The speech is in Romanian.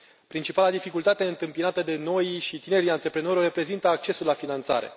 Principala dificultate întâmpinată de noii și tinerii antreprenori o reprezintă accesul la finanțare.